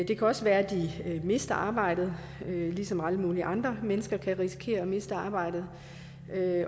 kan også være at de mister arbejdet ligesom alle mulige andre mennesker kan risikere at miste arbejdet